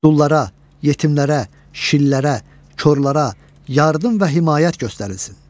Dullara, yetimlərə, şillərə, korlara, yardım və himayət göstərilsin.